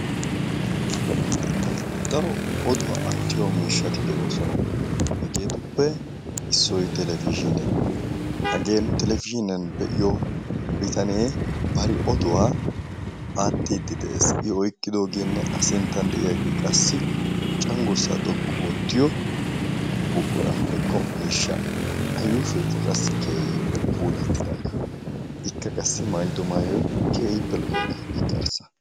Daro oduwaa aartiyo miishshati de'oosona. Hegetuppe issoy televizhiniyaa, hagee nu televizhiniyaan be'iyoo bitanee bari oduwaa aartide de'ees. I oyqqidoogenne a sinttan de'iyaage qassi cenggurssa xoqqu oottiyo miishsha. A yuushshoy keehippe puulatidaaga, ikka qassi maayyido maayyoy keehippe lo"iyaaga, ikka arssa.